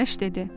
Günəş dedi: